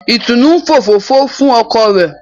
Itunu ń òfófó fún ọkọ rẹ.